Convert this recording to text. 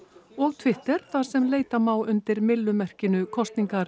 og Twitter þar sem leita má undir myllumerkinu kosningar